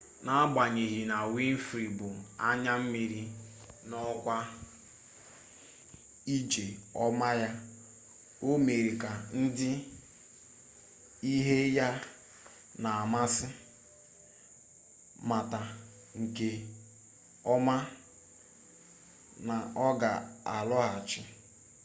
n'agbanyeghi na winfrey bu anya mmiri n'okwu ije ọma ya o mere ka ndị ihe ya na-amasị mata nke ọma na ọ ga-alọghachi